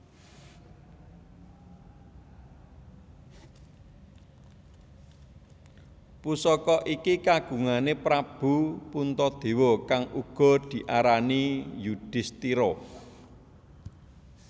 Pusaka iki kagungane Prabu Puntadewa kang uga diarani Yudistira